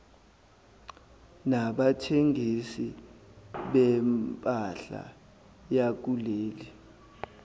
nabathengisi bempahla yakuleli